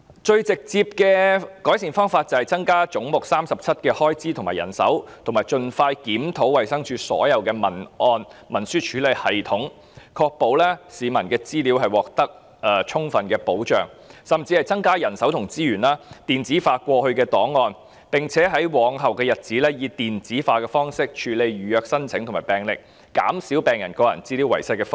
最直接的改善方法便是增加總目37的開支和人手，以及盡快檢討衞生署所有檔案和文書處理系統，確保市民的資料獲得充分的保障，甚至應增加人手和資源，把過去的檔案電子化，並且在日後以電子化的方式處理預約申請和病歷，減少病人個人資料遺失的風險。